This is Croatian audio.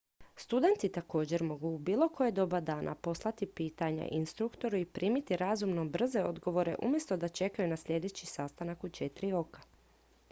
studenti također mogu u bilo koje doba dana poslati pitanja instruktoru i primiti razumno brze odgovore umjesto da čekaju na sljedeći sastanak u četiri oka